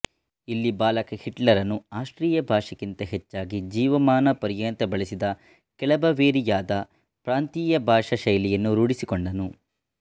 ಇಲ್ಲಿ ಬಾಲಕ ಹಿಟ್ಲರನು ಆಸ್ಟ್ರಿಯಾ ಭಾಷೆಗಿಂತ ಹೆಚ್ಚಾಗಿ ಜೀವಮಾನ ಪರ್ಯಂತ ಬಳಸಿದ ಕೆಳ ಬವೇರಿಯಾದ ಪ್ರಾಂತೀಯ ಭಾಷಾ ಶೈಲಿಯನ್ನು ರೂಢಿಸಿಕೊಂಡನು